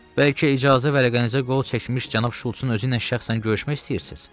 Bəlkə icazə vərəqənizə qol çəkmiş cənab Şults-un özüylə şəxsən görüşmək istəyirsiz?